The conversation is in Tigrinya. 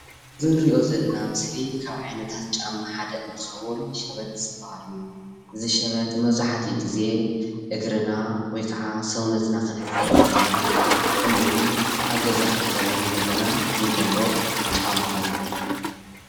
አዚ እነሪኦ ዘለና ምስሊ ካብ ዓይነታት ጫማ ሓደ እንትከውን ሸበጥ ዝባሃል እዩ፡፡ እዚ ሸበጥ መብዛሕትኡ ግዜ እግርና ወይካዓ ሰውነትና ክንሕፀብ ከለና ከምኡ እውን ኣብ ገዛ ክንከውን ከለና እንገብሮ ጫማ እዩ፡፡